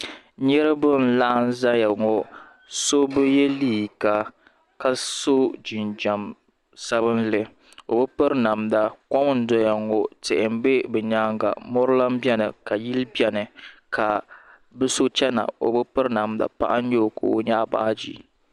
Niriba n laɣim zaya ŋɔ so bi yiɛ liiga ka so jinjam sabinli o bi piri namda kom n doya ŋɔ tihi bɛ bi yɛanga mori lan bɛni ka yili bɛni ka bi so chɛna o bi piri namda paɣa n yɛ o ka o yɛaɣi baaji.